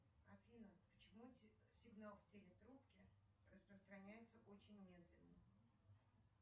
афина почему сигнал в телетрубке распространяется очень медленно